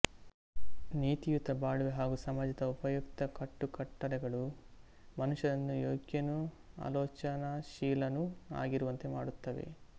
ನೀತಿಯುತ ಬಾಳ್ವೆ ಹಾಗೂ ಸಮಾಜದ ಉಪಯುಕ್ತ ಕಟ್ಟುಕಟ್ಟಳೆಗಳು ಮನುಷ್ಟನನ್ನು ಯೋಗ್ಯನೂ ಆಲೋಚನಾಶೀಲನೂ ಆಗಿರುವಂತೆ ಮಾಡುತ್ತವೆ